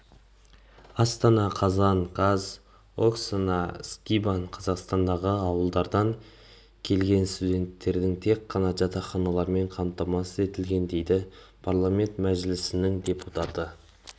астана қазан қаз оксана скибан қазақстандағы ауылдардан келгенстуденттердің тек ғана жатақханалармен қамтамасыз етілген дейді парламент мәжілісініңдепутаты